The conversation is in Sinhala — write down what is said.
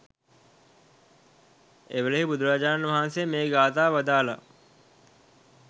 එවේලෙහි බුදුරජාණන් වහන්සේ මේ ගාථාව වදාළා.